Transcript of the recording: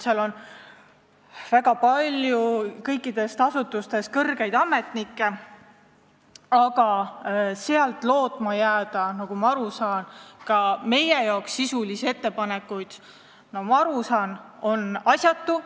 Seal on kõikidest asutustest palju kõrgeid ametnikke, aga loota sealt meie jaoks sisulisi ettepanekuid on, nagu ma aru saan, asjatu.